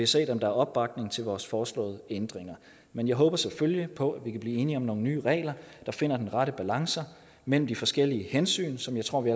set om der er opbakning til vores foreslåede ændringer men jeg håber selvfølgelig på at vi kan blive enige om nogle nye regler der finder de retter balancer mellem de forskellige hensyn som jeg tror vi